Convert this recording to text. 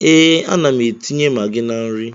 Ee, ana m etinye magị na nri.